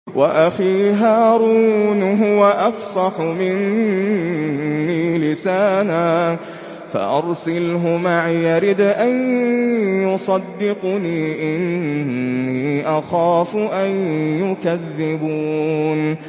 وَأَخِي هَارُونُ هُوَ أَفْصَحُ مِنِّي لِسَانًا فَأَرْسِلْهُ مَعِيَ رِدْءًا يُصَدِّقُنِي ۖ إِنِّي أَخَافُ أَن يُكَذِّبُونِ